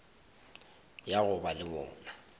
ya go ba le bona